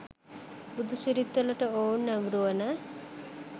බොදු සිරිත්වලට ඔවුන් නැඹුරුවන